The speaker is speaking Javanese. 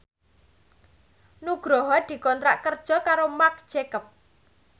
Nugroho dikontrak kerja karo Marc Jacob